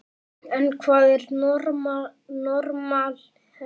En hvað er normal hegðun?